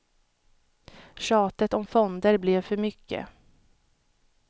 Tjatet om fonder blev för mycket.